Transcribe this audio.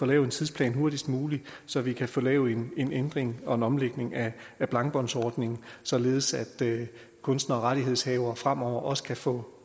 lavet en tidsplan hurtigst muligt så vi kan få lavet en ændring og en omlægning af blankbåndsordningen således at kunstnere og rettighedshavere fremover også kan få